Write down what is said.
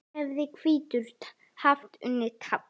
hefði hvítur haft unnið tafl.